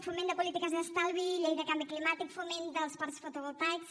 foment de polítiques d’estalvi llei de canvi climàtic foment dels parcs fotovoltaics